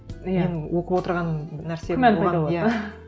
мен оқып отырған нәрсем күмән пайда болады